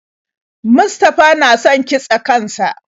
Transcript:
Mustafa na son kitse kan sa.